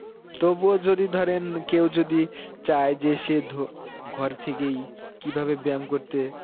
তবুও যদি ধরেন কেও যদি চায়ে যে সে ধো~ ঘর থেকেই কি ভাবে ব্যাম করতে